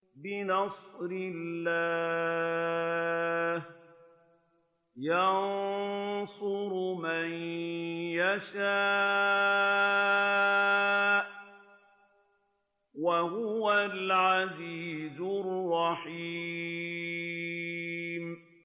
بِنَصْرِ اللَّهِ ۚ يَنصُرُ مَن يَشَاءُ ۖ وَهُوَ الْعَزِيزُ الرَّحِيمُ